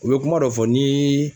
U bɛ kuma dɔ fɔ ni